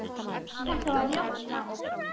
Þetta var ljótt land.